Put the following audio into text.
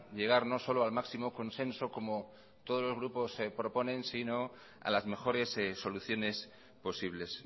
llegar no solo al máximo consenso como todos los grupos proponen sino a las mejores soluciones posibles